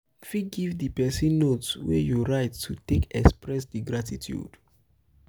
you fit give di person note wey you write to take express di gratitude